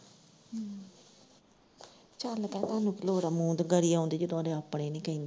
ਚੱਲ ਤਾਈ ਤੁਹਾਨੂੰ ਕੀ ਲੋੜ ਏ, ਮੂੰਹ ਦੇ ਗਾੜੀ ਆਉਣ ਦੀ, ਜਦੋਂ ਓਦੇ ਆਪਣੇ ਨੀ ਕਹਿੰਦੇ।